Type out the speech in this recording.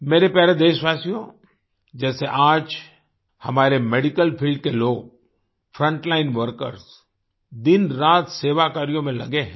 मेरे प्यारे देशवासियो जैसे आज हमारे मेडिकल फील्ड के लोग फ्रंटलाइन वर्कर्स दिनरात सेवा कार्यों में लगे हैं